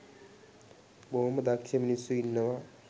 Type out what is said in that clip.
බොහෝම දක්ෂ මිනිස්සු ඉන්නවා.